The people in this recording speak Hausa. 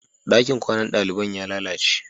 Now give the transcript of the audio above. Ɗakin kwanan daliban ya lalace.